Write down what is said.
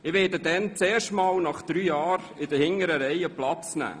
Ich werde dann erstmals nach drei Jahren in den hinteren Reihen Platz nehmen.